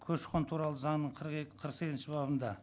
көші қон туралы заңының қырық екі қырық сегізінші бабында